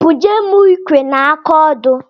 Bunye m ikwe na aka odo.